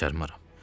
Bacarmaram.